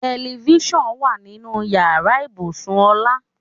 Telifísàn wà nínú ìyára ibùsùn Ọlá.